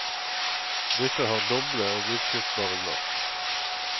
Disse har doble og utskiftbare glass.